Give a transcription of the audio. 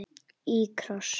Í kross.